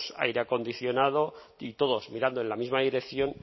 aire acondicionado y todos mirando en la misma dirección